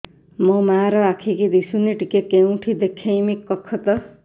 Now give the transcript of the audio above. ମୋ ମା ର ଆଖି କି ଦିସୁନି ଟିକେ କେଉଁଠି ଦେଖେଇମି କଖତ